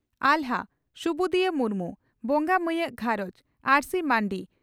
ᱟᱦᱞᱟ (ᱥᱩᱵᱩᱫᱤᱭᱟᱹ ᱢᱩᱨᱢᱩ) ᱵᱚᱸᱜᱟ ᱢᱟᱹᱭᱟᱜ ᱜᱷᱟᱨᱚᱸᱡᱽ (ᱟᱹᱨᱥᱤ ᱢᱟᱹᱱᱰᱤ)